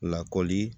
Lakɔli